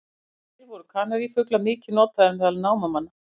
Áður fyrr voru kanarífuglar mikið notaðir meðal námamanna.